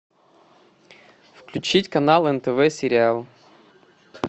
включить канал нтв сериал